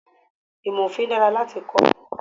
Ìmò Òfin dára láti kọ́.